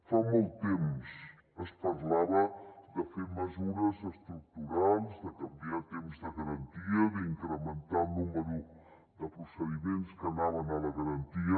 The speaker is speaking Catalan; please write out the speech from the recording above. fa molt temps es parlava de fer mesures estructurals de canviar temps de garantia d’incrementar el nombre de procediments que anaven a la garantia